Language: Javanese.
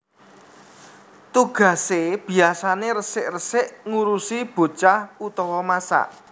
Tugasé biyasané resik resik ngurusi bocah utawa masak